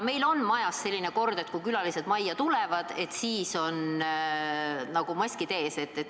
Meil on majas selline kord, et kui külalised majja tulevad, siis on neil maskid ees.